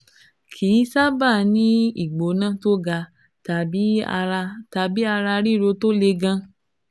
Kì í sábà ní ìgbóná tó ga tàbí ara tàbí ara ríro tó le gan